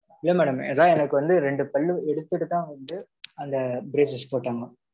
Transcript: இல்லை madam, எதான் எனக்கு வந்து, ரெண்டு பல்லு எடுத்துட்டுதான் வந்து, அந்த braces போட்டாங்க.